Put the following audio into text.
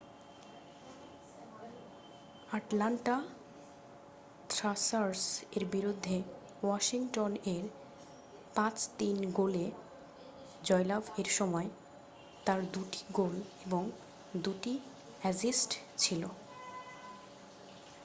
Atlanta Thrashers এর বিরুদ্ধে Washington এর 5-3 গোলে জয়লাভ এর সময় তার দু'টি গোল এবং দু'টি অ্যাসিস্ট ছিল